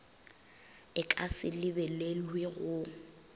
e ka se lebelelwe go